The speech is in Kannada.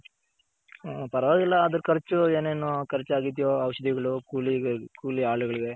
ಪರವಾಗಿಲ್ಲ ಅದ್ ಖರ್ಚು ಏನೇನು ಖರ್ಚ್ ಆಗಿದ್ಯೋ ಔಷದಿಗಳು, ಕೂಲಿ ಆಳ್ಗಳ್ಗ್